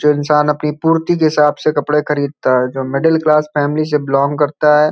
जो इन्सान अपनी पूर्ति के हिसाब से कपड़े खरीदता है जो मिडिल क्लास फॅमिली से बिलोंग करता है।